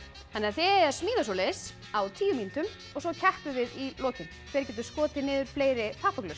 þið eigið að smíða svoleiðis á tíu mínútum og svo keppum við í lokin hver getur skotið niður fleiri